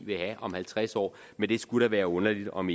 vil have om halvtreds år men det skulle da være underligt om